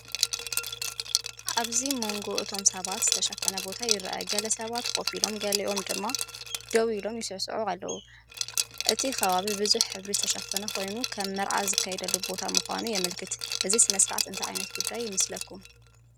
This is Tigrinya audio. እዚ ኣብ መንጎ እቶም ሰባት ዝተሸፈነ ቦታ ይርአ፣ ገለ ሰባት ኮፍ ኢሎም ገሊኦም ድማ ደው ኢሎም ወይ ይስዕስዑ ኣለው። እቲ ከባቢ ብብዙሕ ሕብሪ ዝተሸፈነ ኮይኑ፡ከም መርዓ ዝካየደሉ ቦታ ምዃኑ የመልክት። እዚ ስነ-ስርዓት እንታይ ዓይነት ጉዳይ ይመስለኩም?